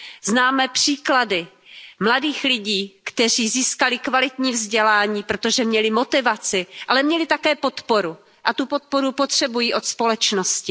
Známe příklady mladých lidí, kteří získali kvalitní vzdělání, protože měli motivaci, ale měli také podporu a tu podporu potřebují od společnosti.